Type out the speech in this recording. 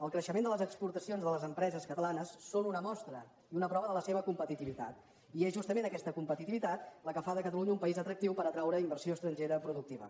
el creixement de les exportacions de les empreses catalanes són una mostra i una prova de la seva competitivitat i és justament aquesta competitivitat la que fa de catalunya un país atractiu per atraure inversió estrangera productiva